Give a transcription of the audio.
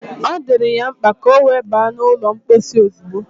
Ọ dịrị ya mkpa ka ọ wee ba n’ụlọ mposi ozugbo